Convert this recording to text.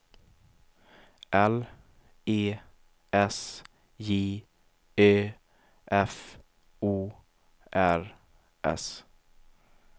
L E S J Ö F O R S